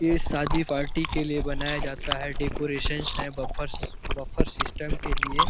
ये शाद्दी पार्टी के लिए बनाया जाता है डेकोरेशनस है बफर बफर सिस्टम के लिये --